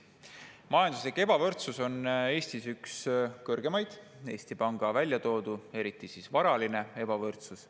Majanduslik ebavõrdsus on Eestis üks kõrgemaid – Eesti Pank on selle välja toonud –, eriti varaline ebavõrdsus.